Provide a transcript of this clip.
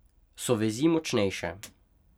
So vezi močnejše.